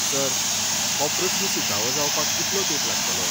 Sir, हो प्रस्न सुटावो जावपाक कितलो तेंप लागतलो?